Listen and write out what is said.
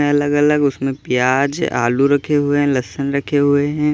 अलग-अलग उसमें प्याज आलू रखे हुए हैं लहसन रखे हुए हैं।